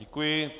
Děkuji.